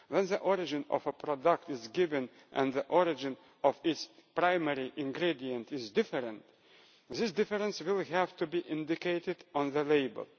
When the origin of a product is given and the origin of its primary ingredient is different, this difference will have to be indicated on the label.